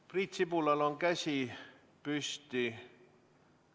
Priit Sibulal on käsi püsti.